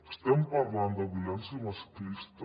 estem parlant de violència masclista